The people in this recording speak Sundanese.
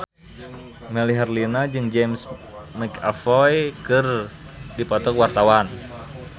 Melly Herlina jeung James McAvoy keur dipoto ku wartawan